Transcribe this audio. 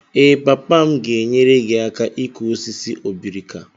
Ee, papa m ga-enyere gị aka ịkụ osisi obrika.